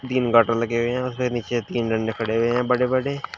तीन गाटर लगे हुएं हैं यहां पे नीचे तीन डंडे खड़े हुए हैं बड़े-बड़े।